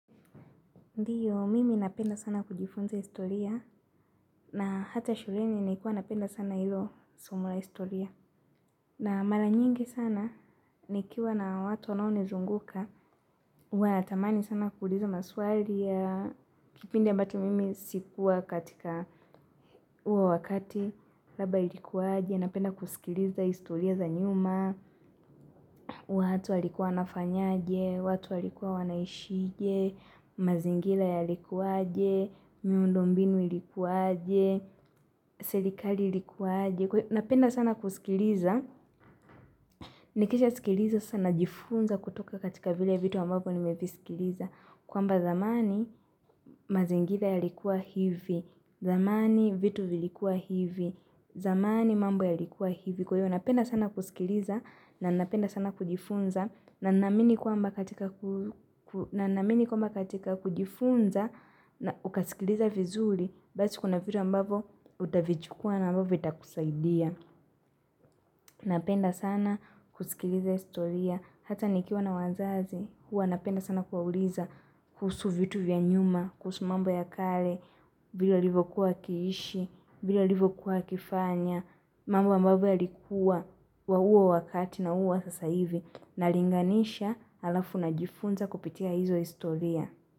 Ndiyo, mimi napenda sana kujifunza historia na hata shuleni naikuwa napenda sana ilo somo la historia. Na mara nyingi sana, nikiwa na watu wanaonizunguka, huwa natamani sana kuuliza maswali ya, kipindi ambacho mimi sikuwa katika uwo wakati, labda ilikuwaaje, napenda kusikiliza historia za nyuma, watu walikua wanafanyaje, watu walikuwa wanaishije, mazingila yalikuaje miundo mbinu ilikuaje selikali ilikuaje kwa hio napenda sana kusikiliza nikisha sikiliza sasa na jifunza kutoka katika vile vitu ambavyo ni mevisikiliza kwamba zamani mazingila yalikuwa hivi, zamani vitu vilikuwa hivi, zamani mambo yalikuwa hivi kwa hiyo napenda sana kusikiliza na napenda sana kujifunza na naamini kwamba katika na naamini kwamba katika kujifunza na ukasikiliza vizuri Basi kuna vitu ambavyo utavijukua na ambavyo vitakusaidia Napenda sana kusikiliza historia. Hata nikiwa na wazazi huwa napenda sana kwauliza kuhusu vitu vya nyuma, kuhusu mambo ya kale vile alivokuwa akiishi, vile alivokuwa akifanya. Mambo ambavyo yalikua wa huwo wakati na huu wa sasa hivi. Nallinganisha alafu na jifunza kupitia hizo historia.